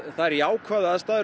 það er jákvæðar aðstæður